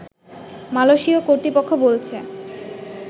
মালয়েশীয় কর্তৃপক্ষ বলেছে